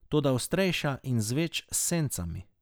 Toda ostrejša in z več sencami.